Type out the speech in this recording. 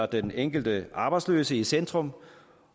den enkelte arbejdsløse i centrum